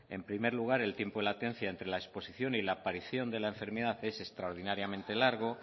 en primer lugar el tiempo de latencia entre la exposición y la aparición de la enfermedad es extraordinariamente largo